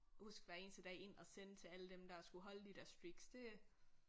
Huske hver eneste dag ind og sende til alle dem der skulle holde de der streaks det